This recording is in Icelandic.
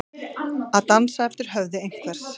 Að dansa eftir höfði einhvers